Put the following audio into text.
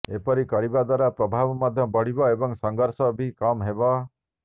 ଏପରି କରିବା ଦ୍ବାରା ପ୍ରଭାବ ମଧ୍ୟ ବଢ଼ିବ ଏବଂ ସଂଘର୍ଷ ବି କମ୍ ହେବ